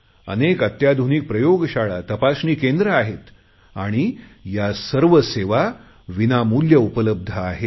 अनेक अत्याधुनिक प्रयोगशाळा तपासणी केंद्र आहेत